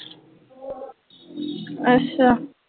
ਅੱਛਾ,